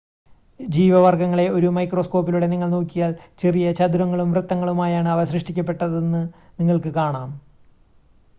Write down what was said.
ജീവ വർഗ്ഗങ്ങളെ ഒരു മൈക്രോസ്കോപിലൂടെ നിങ്ങൾ നോക്കിയാൽ ചെറിയ ചതുരങ്ങളും വൃത്തങ്ങളുമായാണ് അവ സൃഷ്ടിക്കപ്പെട്ടത് എന്ന് നിങ്ങൾക്ക് കാണാം